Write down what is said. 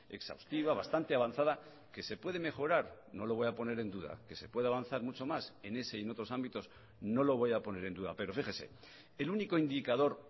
exhaustiva bastante avanzada que se puede mejorar no lo voy a poner en duda que se puede avanzar mucho más en ese y en otros ámbitos no lo voy a poner en duda pero fíjese el único indicador